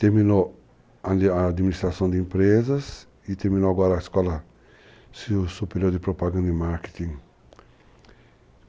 Terminou a administração de empresas e terminou agora a escola superior de propaganda e marketing.